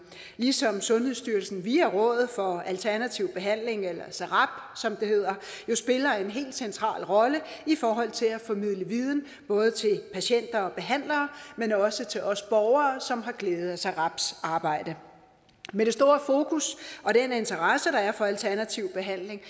ligesom sundhedsstyrelsen via rådet for alternativ behandling eller srab som det hedder jo spiller en helt central rolle i forhold til at formidle viden både til patienter og behandlere men også til os borgere som har glæde af srabs arbejde med det store fokus og den interesse der er for alternativ behandling